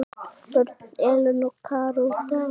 Börn: Elena, Kara og Dagur.